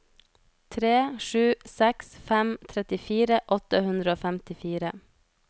tre sju seks fem trettifire åtte hundre og femtifire